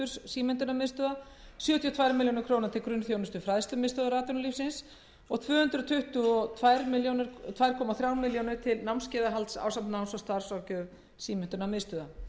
símenntunarmiðstöðva sjötíu og tvö komma eina milljón króna til grunnþjónustu fræðslumiðstöðvar atvinnulífsins og tvö hundruð tuttugu og tvö komma þremur milljónum króna til námskeiðahalds ásamt náms og starfsráðgjöf símenntunarmiðstöðva